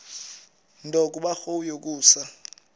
nto kubarrow yokusa